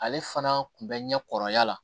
Ale fana kun bɛ ɲɛ kɔrɔya la